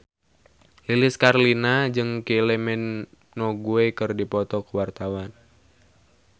Lilis Karlina jeung Kylie Minogue keur dipoto ku wartawan